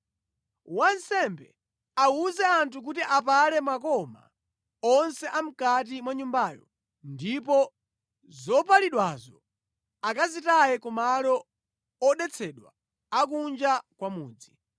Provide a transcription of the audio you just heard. Wansembe awuze anthu kuti apale makoma onse a mʼkati mwa nyumbayo, ndipo zopalidwazo akazitaye ku malo odetsedwa a kunja kwa mudzi.